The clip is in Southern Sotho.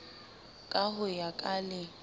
ka ho ya ka le